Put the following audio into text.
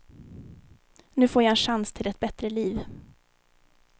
Nu får jag en chans till ett bättre liv.